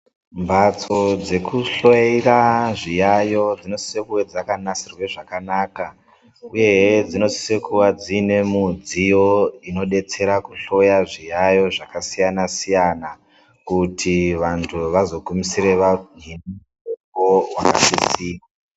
Mbatso dzekuhloira zviyayo dzinosisa kunge dzakanasirwa zvakanaka uye he dzinosisa kuvadzima Nemudziyo inodetsera kuhloya zviyayo zvakasiyana siyana kuti vantu vazogumisira kuona tsitsi.